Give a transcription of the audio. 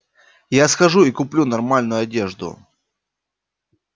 я схожу и куплю нормальную одежду